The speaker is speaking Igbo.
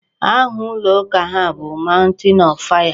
Aha ụlọ ụka ha bụ Mountain of fire.